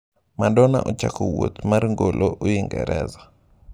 Madonna ochakowuoth mar ngolo Uingereza.